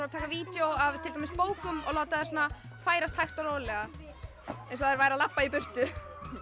að taka vídeó af til dæmis bókum og láta þær færast hægt og rólega eins og þær væru að labba í burtu